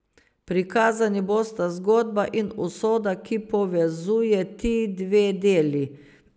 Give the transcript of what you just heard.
Prikazani bosta zgodba in usoda, ki povezuje ti dve deli.